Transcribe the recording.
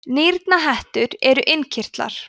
nýrnahettur eru innkirtlar